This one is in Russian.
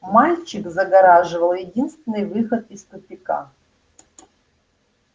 мальчик загораживал единственный выход из тупика